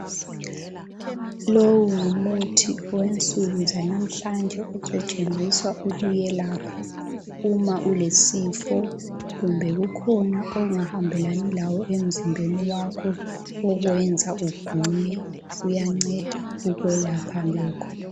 Lowu ngumuthi wensuku zanamhlanje osetshenziswa ukuyelapha uma ulesifo kumbe kukhona ongahambelani lawo emzimbeni wakho okuyenza ugule uyanceda ukwelapha lokho.